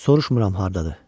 Soruşmuram hardadır.